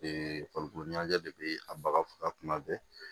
farikolo ɲɛnajɛ de bɛ a baga faga tuma bɛɛ